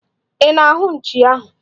Ị na-ahụ nchi ahụ?